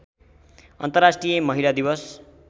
अन्तर्राष्ट्रिय महिला दिवस